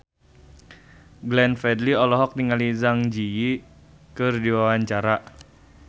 Glenn Fredly olohok ningali Zang Zi Yi keur diwawancara